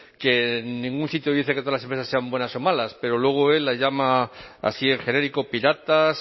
que en ningún sitio dice que todas las empresas sean buenas o malas pero luego él las llama así en genérico piratas